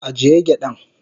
agiye gyadan.